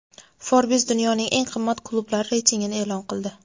"Forbes" dunyoning eng qimmat klublari reytingini e’lon qildi.